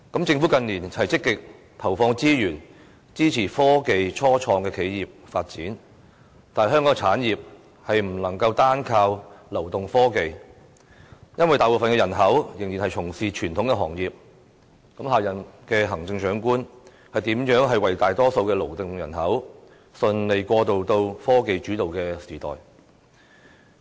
政府近年積極投放資源，支持科技初創企業發展，但香港的產業不能單靠流動科技，因為大部分人口仍然從事傳統行業，下任行政長官如何讓大多數的勞動人口順利過渡到科技主導的時代呢？